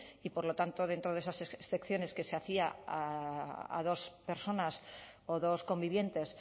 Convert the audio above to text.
y por lo tanto dentro de esas excepciones que se hacía a dos personas o dos convivientes